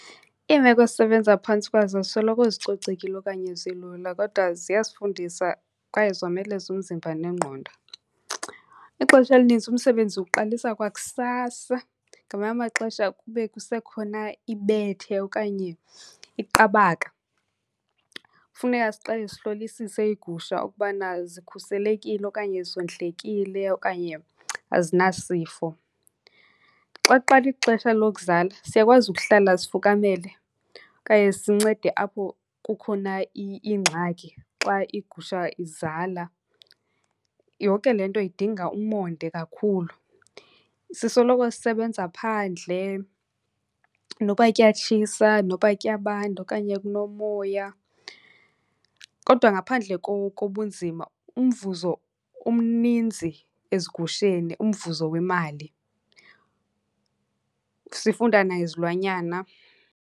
Iimeko esisebenza phantsi kwazo azisoloko zicocekile okanye zilula kodwa ziyasifundisa kwaye zomeleza umzimba nengqondo. Ixesha elininzi umsebenzi uqalisa kwakusasa, ngamanye amaxesha kube kusekhona ibethe okanye iqabaka. Funeka siqale sihlolisise iigusha ukubana zikhuselekile okanye zondlekile okanye azinasifo. Xa kuqala ixesha lokuzala, siyakwazi ukuhlala sifukamele okanye sincede apho kukhona ingxaki xa igusha izala. Yonke le nto idinga umonde kakhulu. Sisoloko sisebenza phandle noba kuyatshisa noba kuyabanda okanye kunomoya. Kodwa ngaphandle kobunzima umvuzo umninzi ezigusheni, umvuzo wemali. Sifunda nangezilwanyana.